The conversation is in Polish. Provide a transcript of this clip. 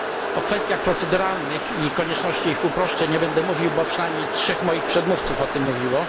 O kwestiach proceduralnych i konieczności ich uproszczeń nie będę mówił, bo przynajmniej 3 moich przedmówców o tym mówiło.